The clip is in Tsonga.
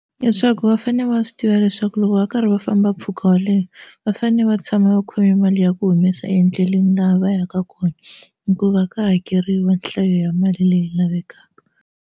Leswaku va fanele va swi tiva leswaku loko va karhi va famba mpfhuka wo leha va fanele va tshama va khome mali ya ku humesa endleleni laha va yaka kona hikuva ka hakeriwa nhlayo ya mali leyi lavekaka.